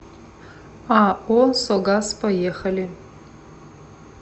ао согаз поехали